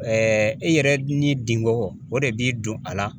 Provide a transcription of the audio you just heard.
e yɛrɛ ni dingɔn o de b'i don a la.